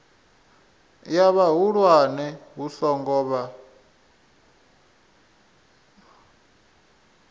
ya vhahulwane hu songo vha